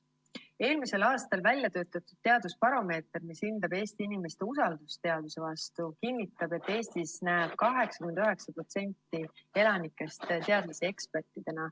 Eelmisel aastal väljatöötatud teadusbaromeeter, mis hindab Eesti inimeste usaldust teaduse vastu, kinnitab, et Eestis näeb 89% elanikest teadlasi ekspertidena.